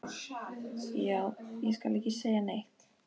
Já, ég skal ekki segja neitt.